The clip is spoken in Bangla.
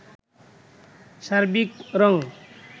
সার্বিক রং